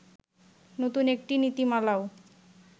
নতুন একটি নীতিমালাও